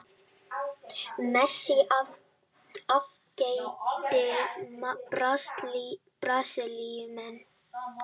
Messi afgreiddi Brasilíumenn